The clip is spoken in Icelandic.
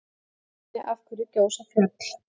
í bókinni af hverju gjósa fjöll